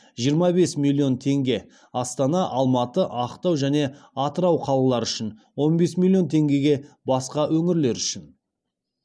жиырма бес миллион теңге астана алматы ақтау және атырау қалалары үшін он бес миллион теңгеге басқа өңірлер үшін